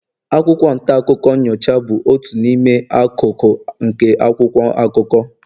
akwụkwọ nta akụkọ nyocha bụ otu n'ime akụkụ nke akwụkwọ akụkọ